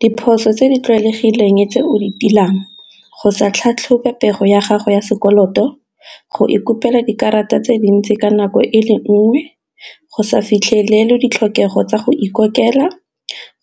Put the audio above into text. Diphoso tse di tlwaelegileng tse o di tiilang go sa tlhatlhobe pego ya gago ya sekoloto, go ikopela dikarata tse dintsi ka nako e le nngwe, go sa fitlhelele ditlhokego tsa go ikopela,